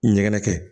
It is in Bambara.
Ɲɛgɛn kɛ